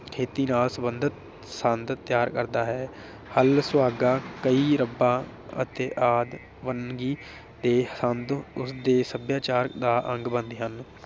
ਖੇਤੀ ਨਾਲ ਸੰਬੰਧਤ ਸੰਦ ਤਿਆਰ ਕਰਦਾ ਹੈ। ਹੱਲ ਸੁਹਾਗਾ, ਕਹੀ, ਰੱਪਾ ਅਤੇ ਆਦਿ ਵੰਨਗੀ ਦੇ ਸੰਦ ਉਸਦੇ ਸਭਿਆਚਾਰ ਦਾ ਅੰਗ ਬਣਦੇ ਹਨ।